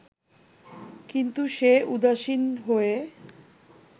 কিন্তু সে উদাসীন হয়ে